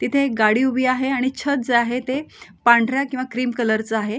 इथे एक गाडी एक उभी आहे आणि छत जे आहे ते पांढऱ्या किंवा क्रीम कलरच आहे.